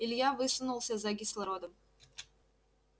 илья высунулся за кислородом